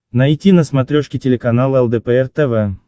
найти на смотрешке телеканал лдпр тв